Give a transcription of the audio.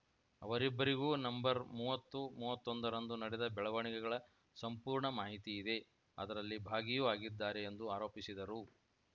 ಅವರಿಬ್ಬರಿಗೂ ನಂಬರ್ಮೂವತ್ತು ಮೂವತ್ತೊಂದರಂದು ನಡೆದ ಬೆಳವಣಿಗೆಗಳ ಸಂಪೂರ್ಣ ಮಾಹಿತಿಯಿದೆ ಅದರಲ್ಲಿ ಭಾಗಿಯೂ ಆಗಿದ್ದಾರೆ ಎಂದು ಆರೋಪಿಸಿದರು